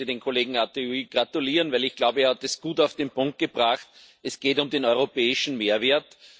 Ich möchte dem Kollegen Arthuis gratulieren, weil ich glaube, er hat es gut auf den Punkt gebracht Es geht um den europäischen Mehrwert.